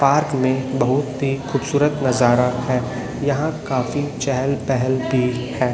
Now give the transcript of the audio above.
Park में बहुत ही खूबसूरत नजारा है यहा काफी चहल पहल भी है।